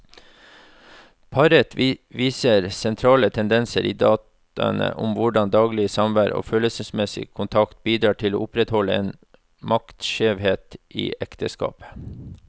Paret viser sentrale tendenser i dataene om hvordan daglig samvær og følelsesmessig kontakt bidrar til å opprettholde en maktskjevhet i ekteskapet.